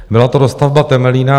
Byla to dostavba Temelína.